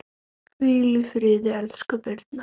Hvíl í friði, elsku Birna.